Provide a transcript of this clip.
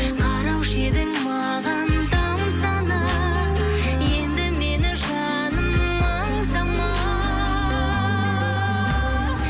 қараушы едің маған тамсана енді мені жаным аңсама